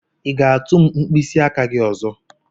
i ga-atu m mkpịsị aka gị ọzọ?